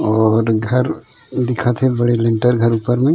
और घर दिखत हे बड़े लेंटर घर ऊपर मे--